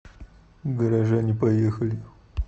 горожане поехали